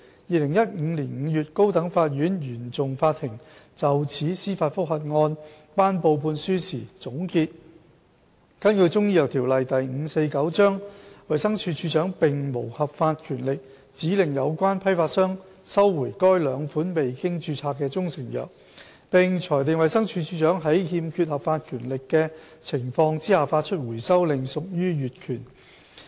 2015年5月，高等法院原訟法庭就此司法覆核案頒布判案書時總結，根據《中醫藥條例》，衞生署署長並無合法權力指令有關批發商收回該兩款未經註冊的中成藥，並裁定衞生署署長在欠缺合法權力的情況下發出回收令屬於越權。